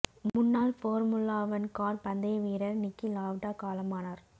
முன்னாள் formula one car பந்தய வீரர் நிக்கி லாவ்டா காலமானார்